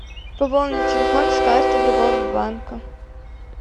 пополнить телефон с карты другого банка